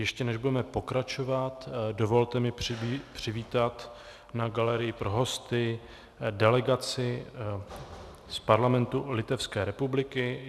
Ještě než budeme pokračovat, dovolte mi přivítat na galerii pro hosty delegaci z Parlamentu Litevské republiky.